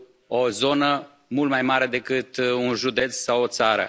o zonă mult mai mare decât un județ sau o țară.